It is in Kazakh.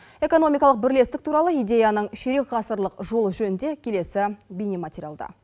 экономикалық бірлестік туралы идеяның ширек ғасырлық жол жөнінде келесі бейне материалда